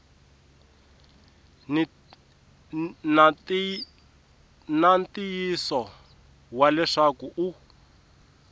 na ntiyiso wa leswaku u